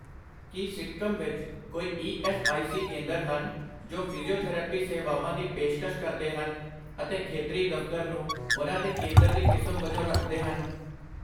ਕੀ ਸਿੱਕਮ ਵਿੱਚ ਕੋਈ E S I C ਕੇਂਦਰ ਹਨ ਜੋ ਫਿਜ਼ੀਓਥੈਰੇਪੀ ਸੇਵਾਵਾਂ ਦੀ ਪੇਸ਼ਕਸ਼ ਕਰਦੇ ਹਨ ਅਤੇ ਖੇਤਰੀ ਦਫ਼ਤਰ ਨੂੰ ਉਹਨਾਂ ਦੇ ਕੇਂਦਰ ਦੀ ਕਿਸਮ ਵਜੋਂ ਰੱਖਦੇ ਹਨ?